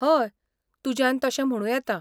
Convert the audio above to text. हय, तुज्यान तशें म्हणू येता.